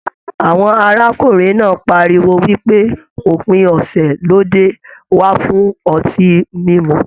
Àwọn arákùnrin náà páríwó wípé òpin ọsẹ lóde wà fún ọtí mímu.